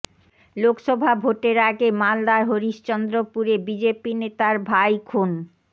লোকসভা ভোটের আগে মালদার হরিশ্চন্দ্রপুরে বিজেপি নেতার ভাই খুন